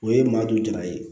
O ye maa du jala ye